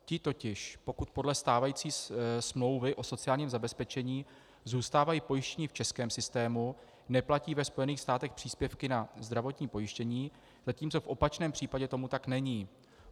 Ti totiž, pokud podle stávající smlouvy o sociálním zabezpečení zůstávají pojištěni v českém systému, neplatí ve Spojených státech příspěvky na zdravotní pojištění, zatímco v opačném případě tomu tak není.